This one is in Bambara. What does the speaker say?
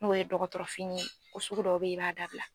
N'o ye dɔgɔtɔrɔ fini ye ko sugu dɔw bɛ ye i b'a dabila.